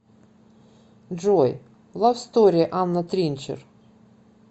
джой лав стори анна тринчер